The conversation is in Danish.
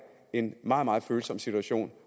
en meget meget følsom situation